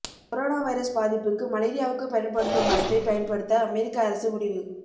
corona virus பாதிப்புக்கு மலேரியாவுக்கு பயன்படுத்தும் மருந்தை பயன்படுத்த அமெரிக்க அரசு முடிவு